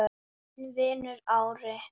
Þinn vinur, Ari.